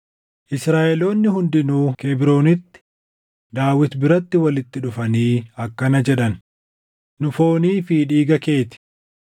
Israaʼeloonni hundinuu Kebroonitti Daawit biratti walitti dhufanii akkana jedhan; “Nu foonii fi dhiiga kee ti.